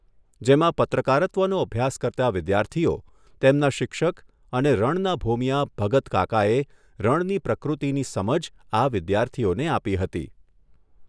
જેમાં પત્રકારત્વનો અભ્યાસ કરતા વિદ્યાર્થીઓને તેમના શિક્ષક અને રણના ભોમિયા ભગતકાકાએ રણની પ્રકૃતિની સમજ આપી હતી.